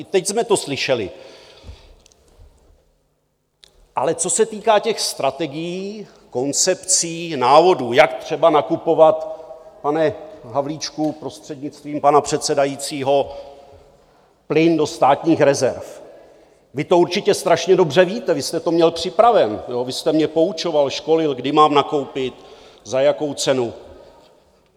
I teď jsme to slyšeli, ale co se týká těch strategií, koncepcí, návodů, jak třeba nakupovat, pane Havlíčku prostřednictvím pana předsedajícího, plyn do státních rezerv, vy to určitě strašně dobře víte, vy jste to měl připravené, vy jste mě poučoval, školil, kdy mám nakoupit, za jakou cenu.